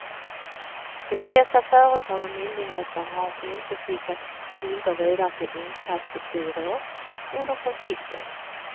De flesta företag och myndigheter har inte skickat skulder vidare till inkassobyråer under konflikten.